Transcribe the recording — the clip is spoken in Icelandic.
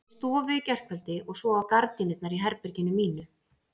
Inni í stofu í gærkveldi og svo á gardínurnar í herberginu mínu.